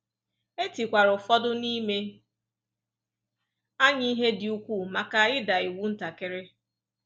E tikwara ụfọdụ n’ime anyị ihe dị ukwuu maka ịda iwu ntakiri.